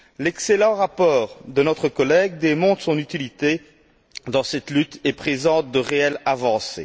L'excellent rapport de notre collègue démontre son utilité dans cette lutte et présente de réelles avancées.